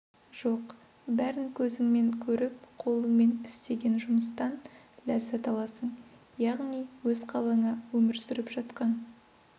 жоқ бәрін көзіңмен көріп қолыңмен істеген жұмыстан ләззат аласың яғни өз қалаңа өмір сүріп жатқан